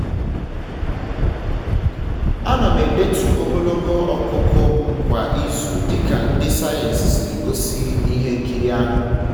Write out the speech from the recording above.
ana m edetu ogologo ọkụkụ m kwa izu dịka ndi sayensị siri gosi na ihe nkiri ahụ